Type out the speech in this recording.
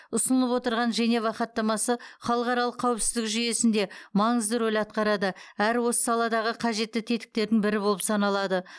ұсынылып отырған женева хаттамасы халықаралық қауіпсіздік жүйесінде маңызды рөл атқарады әрі осы саладағы қажетті тетіктердің бірі болып саналады